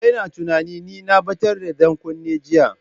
Ki daina tunanin ni na batar da dankunne jiya!